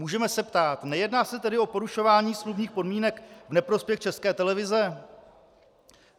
Můžeme se ptát: Nejedná se tedy o porušování smluvních podmínek v neprospěch České televize?